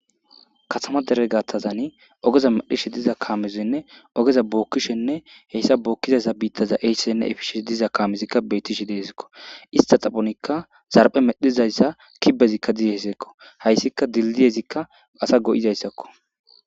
Katama dere gathtazani ogeza medhishe diza kaamezinne ogeza bookkishenne heyssa bookkizayssa biittaza eyssenne efishesh diza kaamezikka bettishe deezikko ista xaphonikka zarphe medhizayssa kibezikka dizeseekko hayssika dildiyezikka asa go7izayssakko,